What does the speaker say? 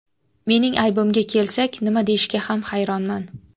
Mening aybimga kelsak, nima deyishga ham hayronman.